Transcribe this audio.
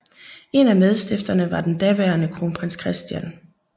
En af medstifterne var den daværende Kronprins Christian